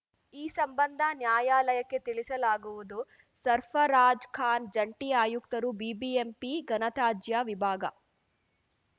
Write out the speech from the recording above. ಈ ಸಂಬಂಧ ನ್ಯಾಯಾಲಯಕ್ಕೆ ತಿಳಿಸಲಾಗುವುದು ಸರ್ಫರಾಜ್‌ಖಾನ್‌ ಜಂಟಿ ಆಯುಕ್ತರು ಬಿಬಿಎಂಪಿ ಘನತ್ಯಾಜ್ಯ ವಿಭಾಗ